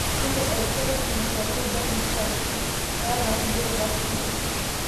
Keeta erishata okompyutani irubat uni sapukin, naata kulie rubat kutitik.